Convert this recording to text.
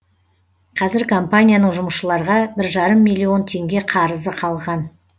қазір компанияның жұмысшыларға бір жарым миллион теңге қарызы қалған